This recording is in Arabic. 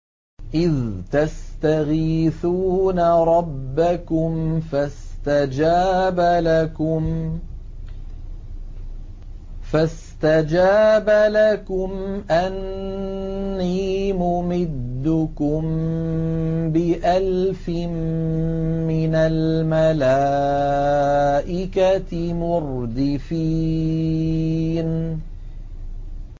إِذْ تَسْتَغِيثُونَ رَبَّكُمْ فَاسْتَجَابَ لَكُمْ أَنِّي مُمِدُّكُم بِأَلْفٍ مِّنَ الْمَلَائِكَةِ مُرْدِفِينَ